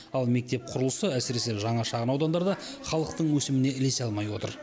ал мектеп құрылысы әсіресе жаңа шағын аудандарда халықтың өсіміне ілесе алмай отыр